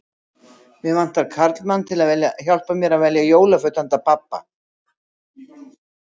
Mig vantar karlmann til að hjálpa mér að velja jólagjöf handa pabba